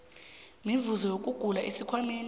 mivuzo yokugula esikhwameni